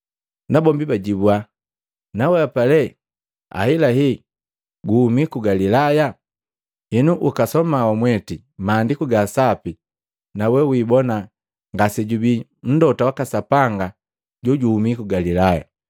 Nabombi bajibua, “Nawehapa lee ahelahela guhumi ku Galilaya? Henu ukasoma wamweti Maandiku ga Sapi na we wibona ngasejubii mlota waka Sapanga jojuhumi ku Galilaya.”